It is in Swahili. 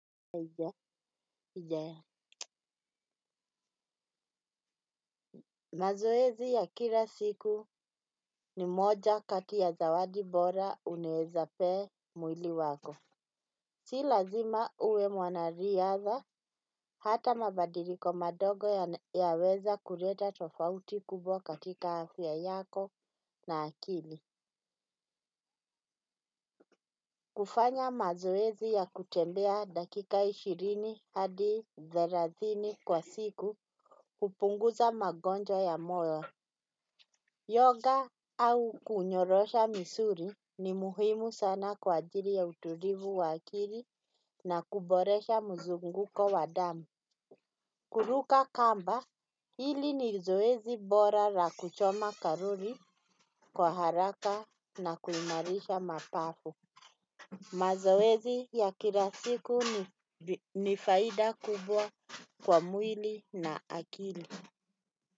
Ija ija mazoezi ya kila siku ni moja kati ya zawadi bora unaweza pee mwili wako si lazima uwe mwanariadha hata mabadiliko madogo yaweza kuleta tofauti kubwa katika afya yako na akili kufanya mazoezi ya kutembea dakika ishirini hadi thelathini kwa siku kupunguza magonjwa ya moyo Yoga au kunyorosha misuli ni muhimu sana kwa ajili ya utulivu wa akili na kuboresha mzunguko wa damu. Kuruka kamba hili ni zoezi bora la kuchoma karuri kwa haraka na kuimarisha mapambo. Mazoezi ya kila siku ni faida kubwa kwa mwili na akili.